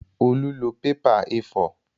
Olú lọ pépà A4